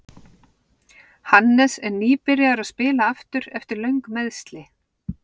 Hannes er nýbyrjaður að spila aftur eftir löng meiðsli.